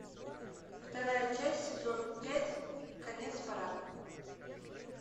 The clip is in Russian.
вторая часть сезон пять конец парада